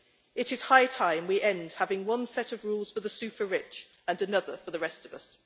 It is high time we end having one set of rules for the super rich, and another for the rest of us.